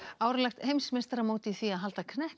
árlegt heimsmeistaramót í því að halda